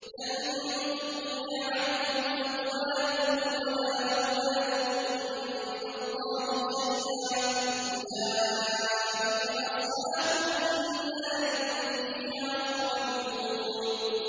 لَّن تُغْنِيَ عَنْهُمْ أَمْوَالُهُمْ وَلَا أَوْلَادُهُم مِّنَ اللَّهِ شَيْئًا ۚ أُولَٰئِكَ أَصْحَابُ النَّارِ ۖ هُمْ فِيهَا خَالِدُونَ